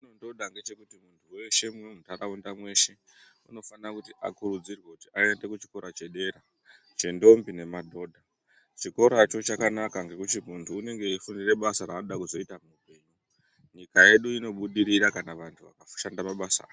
Chetinotida ngechekuti munthu weshe muno muntharaunda mweshe unofanira kuti akurudzirwe kuti aende kuchikora chedera ,chendombi nemadhodha. Chikoracho chakanaka ngekuti munthu unenge eifundire basa raanoda kuzoita. Nyika yedu inobudirira kana vanthu vakazoshanda mabasa aya.